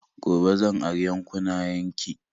Gobe zan ari 'yankunnayen ki